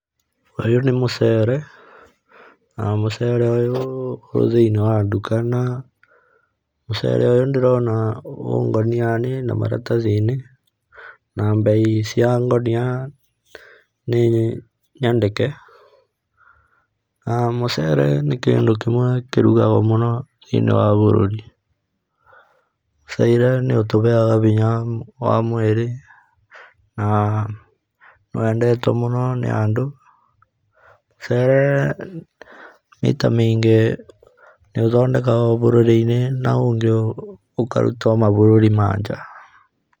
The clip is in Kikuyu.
Ũyũ nĩ mũcere, na mũcere ũyũ wĩthiinĩ wa nduka, naũcere ũyũ ndĩrona ũngunia-inĩ na maratathi-inĩ, na mbei cia ngũnia nĩnyandĩke, na mũcere nĩ kĩndũ kĩmwe kĩrigagwo mũno thĩinĩ wa bũrũri. Mũcete nĩ ũtũheyaga hinya wa mwĩrĩ, na wendetwo mũno nĩ andũ, mũcere maita maingĩ nĩ ũthondekagwo bũrũri-inĩ, na ũyũ ũngĩ ũkarutwo mabũrũri mananja.